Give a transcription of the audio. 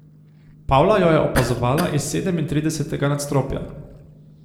Pavla jo je opazovala iz sedemintridesetega nadstropja.